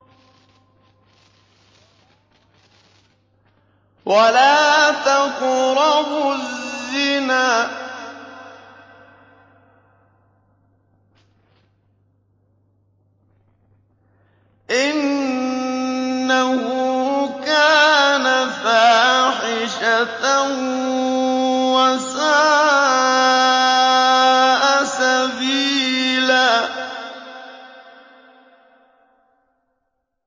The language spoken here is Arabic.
وَلَا تَقْرَبُوا الزِّنَا ۖ إِنَّهُ كَانَ فَاحِشَةً وَسَاءَ سَبِيلًا